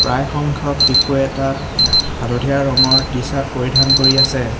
প্ৰায় সংখ্যক শিশুৱে তাত হালধীয়া ৰঙৰ টি চাৰ্ট পৰিধান কৰি আছে।